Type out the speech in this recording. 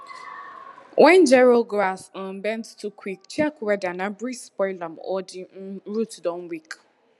wen gero grass um bend too quick check weather na breeze spoil am or di um root don weak